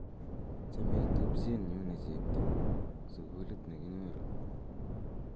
chomei tupchenyu ne chepto sukulit ne kinyoru